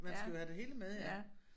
Man skal jo have det hele med ja